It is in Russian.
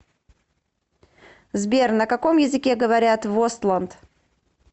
сбер на каком языке говорят в остланд